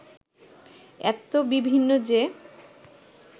এত বিভিন্ন যে